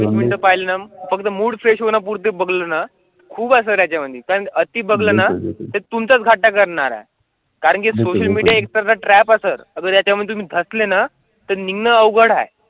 Mood fresh होण्यापुरते बघताना खूप असल्यामुळे त्यांना ती बघताना तुमचं घाटन करणार आहेत. कारण की ट्रॅप असेल तर त्याच्यामध्ये कसले ना तर निघणे अवघड आहे.